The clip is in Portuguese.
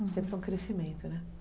Sempre é um crescimento, né?